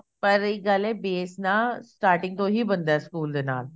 ਪਰ ਇੱਕ ਗੱਲ ਐ base ਨਾ starting ਤੋਂ ਹੀ ਬਣਦਾ ਸਕੂਲ ਦੇ ਨਾਲ